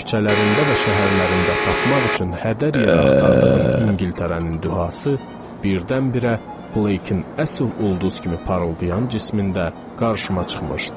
Küçələrində və şəhərlərində tapmaq üçün hədər yerə axtardığım İngiltərənin duhası birdən-birə Blake-in əsl ulduz kimi parıldayan cismində qarşıma çıxmışdı.